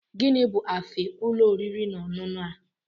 Gịnị bu afe ulo oriri na ọṅụṅụ a?